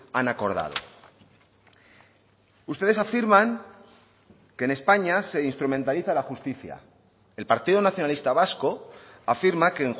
han acordado ustedes afirman que en españa se instrumentaliza la justicia el partido nacionalista vasco afirma que